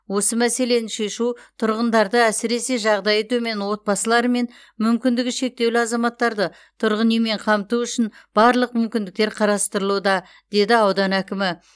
осы мәселені шешу тұрғындарды әсіресе жағдайы төмен отбасылары мен мүмкіндігі шектеулі азаматтарды тұрғын үймен қамту үшін барлық мүмкіндіктер қарастырылуда деді аудан әкімі